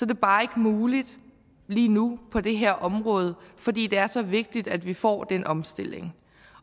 det bare ikke muligt lige nu på det her område fordi det er så vigtigt at vi får den omstilling